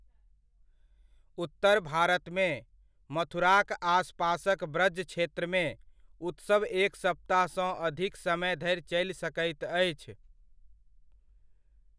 उत्तर भारतमे, मथुराक आसपासक ब्रज क्षेत्रमे, उत्सव एक सप्ताहसँ अधिक समय धरि चलि सकैत अछि।